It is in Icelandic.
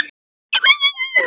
Geir Vídalín biskup hinn góði.